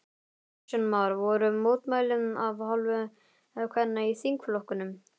Kristján Már: Voru mótmæli af hálfu kvenna í þingflokknum?